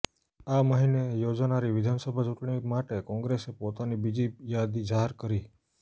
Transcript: આ મહિને યોજાનારી વિધાનસભા ચૂંટણી માટે કોંગ્રેસે પોતાની બીજી યાદી જાહેર કરી